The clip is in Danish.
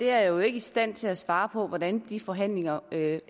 er jo ikke i stand til at svare på hvordan de forhandlinger